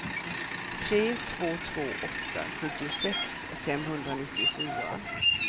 tre två två åtta sjuttiosex femhundranittiofyra